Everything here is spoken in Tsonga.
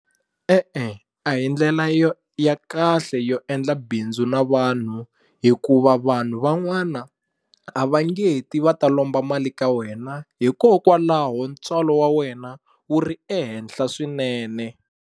E-e a hi ndlela yo ya kahle yo endla bindzu na vanhu hikuva vanhu van'wana a va nge ti va ta lomba mali ka wena hikokwalaho ntswalo wa wena wu ri ehenhla swinene.